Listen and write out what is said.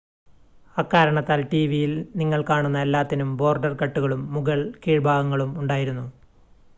അക്കാരണത്താൽ ടിവിയിൽ നിങ്ങൾ കാണുന്ന എല്ലാത്തിനും ബോർഡർ കട്ടുകളും മുകൾ കീഴ്‌ഭാഗങ്ങളും ഉണ്ടായിരുന്നു